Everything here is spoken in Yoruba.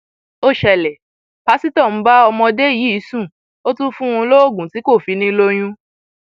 ó ṣẹlẹ pásítọ ń bá ọmọdé yìí sùn ó tún ń fún un lóògùn tí kò fi ní i lóyún